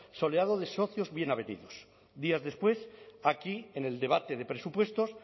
soleado de socios bien avenidos días después aquí en el debate de presupuestos